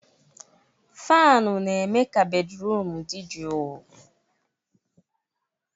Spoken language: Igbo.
Fanụ na-eme ka bédrụum dị jụụ.